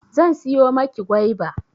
Zan siyo maki goiba